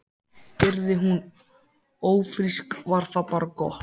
Yrði hún ófrísk var það bara gott.